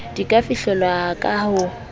di ka fihlelwa ka ho